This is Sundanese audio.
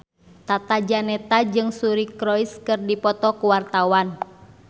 Tata Janeta jeung Suri Cruise keur dipoto ku wartawan